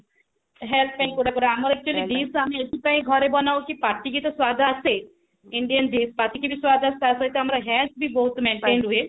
health ପାଇଁ କୋଉଟା କୋଉଟା ଆମର actually dish ଏଥିପାଇଁ ଘରେ ବନା ହଉଛି ପାଟିକି ତ ସ୍ଵାଦ ଆସେ Indian dish ପାଟିକି ବି ସ୍ଵାଦ ଆସେ ତା ସହିତ ଆମର health ବି ବହୁତ maintained ହୁଏ